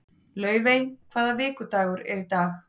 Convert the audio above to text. Laufey, hvaða vikudagur er í dag?